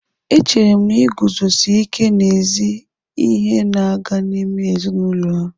Echere m na iguzosi ike n'ezi ihe na-aga n'ime ezinụlọ ha.